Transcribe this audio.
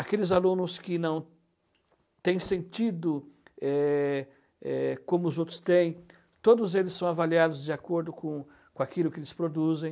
Aqueles alunos que não têm sentido é é como os outros têm, todos eles são avaliados de acordo com com aquilo que eles produzem.